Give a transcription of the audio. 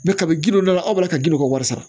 kabi gindo dɔ la aw b'a la ka gindo ka wari sara